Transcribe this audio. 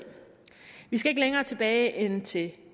vi skal ikke længere tilbage end til